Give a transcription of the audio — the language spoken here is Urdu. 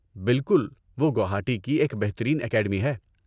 بالکل، وہ گوہاٹی کی ایک بہترین اکیڈمی ہے۔